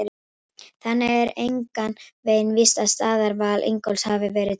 Þannig er engan veginn víst að staðarval Ingólfs hafi verið tilviljun!